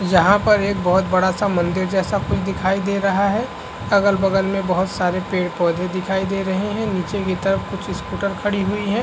यहाँ पर एक बोहत बड़ा सा मंदिर जैसा कुछ दिखाइ दे रहा है। अगल-बगल में बोहत सारे पेड़-पोधे दिखाइ दे रहे हैं। नीचे की तरफ कुछ स्कुट खड़ी हुई है।